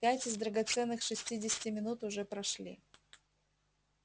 пять из драгоценных шестидесяти минут уже прошли